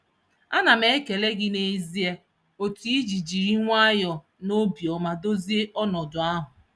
Ana m ekele gị n'ezie etu i si jiri nwayọ na obiọma dozie ọnọdụ ahụ